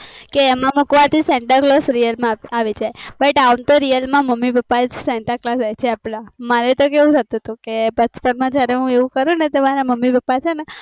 કે એમાં મુકવાથી santaclausereal માં આવે પણ અંમતો real મમ્મી પપ્પા અપડાસવ્હા santa claus હોઈ છે અપડા